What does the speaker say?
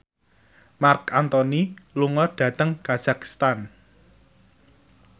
Marc Anthony lunga dhateng kazakhstan